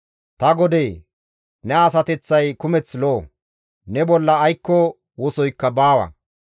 Ta godee! Ne asateththay kumeth lo7o; ne bolla aykko wosoykka baawa.